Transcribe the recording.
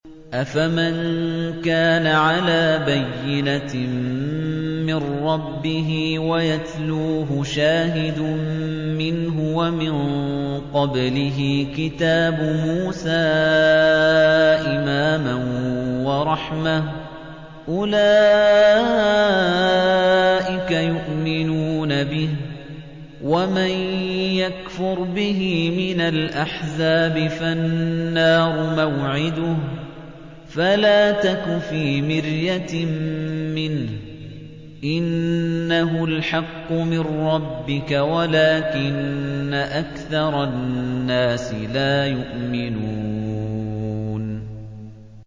أَفَمَن كَانَ عَلَىٰ بَيِّنَةٍ مِّن رَّبِّهِ وَيَتْلُوهُ شَاهِدٌ مِّنْهُ وَمِن قَبْلِهِ كِتَابُ مُوسَىٰ إِمَامًا وَرَحْمَةً ۚ أُولَٰئِكَ يُؤْمِنُونَ بِهِ ۚ وَمَن يَكْفُرْ بِهِ مِنَ الْأَحْزَابِ فَالنَّارُ مَوْعِدُهُ ۚ فَلَا تَكُ فِي مِرْيَةٍ مِّنْهُ ۚ إِنَّهُ الْحَقُّ مِن رَّبِّكَ وَلَٰكِنَّ أَكْثَرَ النَّاسِ لَا يُؤْمِنُونَ